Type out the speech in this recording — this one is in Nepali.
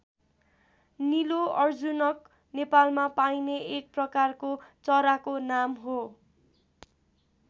नीलो अर्जुनक नेपालमा पाइने एक प्रकारको चराको नाम हो।